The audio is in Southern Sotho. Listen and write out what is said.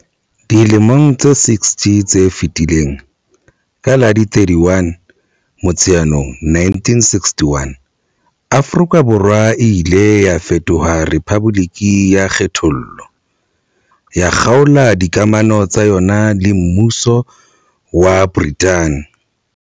Dilemong tse 60 tse fetileng, ka la 31 Motsheanong 1961, Afrika Borwa e ile ya fetoha rephaboliki ya kgethollo, ya kgaola dikamano tsa yona le Mmuso wa Brithani.